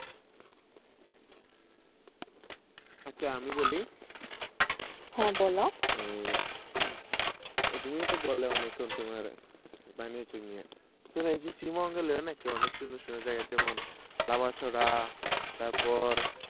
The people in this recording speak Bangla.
আচ্ছা, আমি বলি। হে বল। তুমিওতো বল্লে অনেকখন তোমার তার পর,